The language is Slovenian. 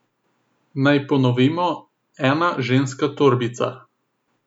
Naj ponovimo, ena ženska torbica.